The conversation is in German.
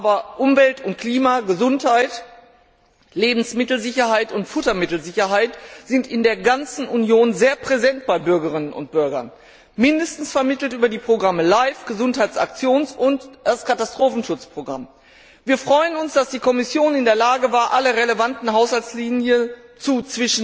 Aber Umwelt, Klima, Gesundheit, Lebensmittelsicherheit und Futtermittelsicherheit sind in der ganzen Union bei Bürgerinnen und Bürgern sehr präsent, mindestens vermittelt über das Programm LIFE, das Gesundheitsaktions und das Katastrophenschutzprogramm. Wir freuen uns, dass die Kommission in der Lage war, alle relevanten Haushaltslinien zu